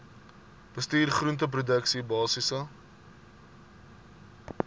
bestuur groenteproduksie basiese